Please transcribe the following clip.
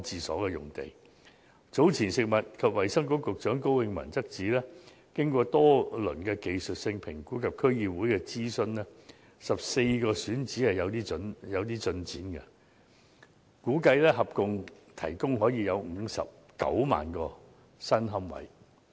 食物及衞生局局長高永文早前指出，經過多輪技術性評估及諮詢區議會 ，14 個選址已有進展，估計可以合共提供59萬個新龕位。